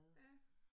Ja